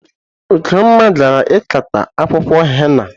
Ugonma gara ikata akwụkwọ henna.